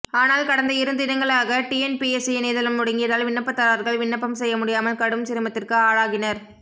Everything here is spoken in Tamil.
ஆனால் கடந்த இருதினங்களாக டிஎன்பிஎஸ்சி இணையதளம் முடங்கியதால் விண்ணப்பதாரர்கள் விண்ணப்பம் செய்ய முடியாமல் கடும் சிரமத்திற்கு ஆளாகினர்